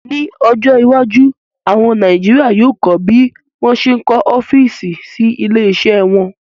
Ní ọjọ́ iwájú, àwọn Nàìjíríà yóò kọ́ bí wón ṣe ń kọ́ ọ́físì sí ilé iṣẹ́ wọn